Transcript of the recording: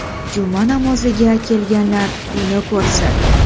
Juma namoziga kelganlar buni ko‘rsin.